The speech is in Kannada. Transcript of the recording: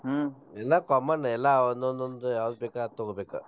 ಎಲ್ಲಾ common ಎಲ್ಲಾ ಒಂದೊಂದ್ ಒಂದ್ ಯಾವ್ದ್ ಬೇಕಾ ಅದ್ ತೊಗೋಬೇಕ.